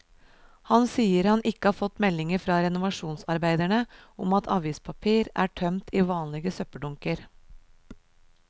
Han sier han ikke har fått meldinger fra renovasjonsarbeiderne om at avispapir er tømt i vanlige søppeldunker.